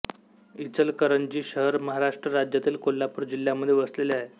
इचलकरंजी शहर महाराष्ट्र राज्यातील कोल्हापूर जिल्ह्यामध्ये वसलेले आहे